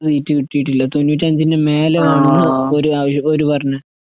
സീറ്റ്കിട്ടീട്ടില്ല. തൊണ്ണൂറ്റഞ്ചിന്റെമേലെ വേണോന്ന് ഒര് അവര് ഓര്പറഞ്ഞു.